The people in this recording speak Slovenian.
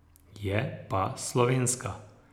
Je pa slovenska.